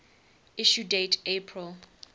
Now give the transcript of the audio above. issue date april